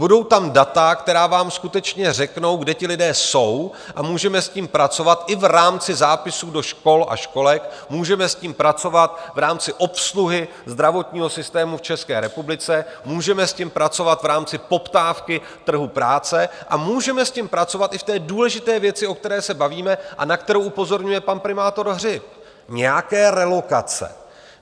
Budou tam data, která vám skutečně řeknou, kde ti lidé jsou, a můžeme s tím pracovat i v rámci zápisu do škol a školek, můžeme s tím pracovat v rámci obsluhy zdravotního systému v České republice, můžeme s tím pracovat v rámci poptávky trhu práce a můžeme s tím pracovat i v té důležité věci, o které se bavíme a na kterou upozorňuje pan primátor Hřib, nějaké relokace.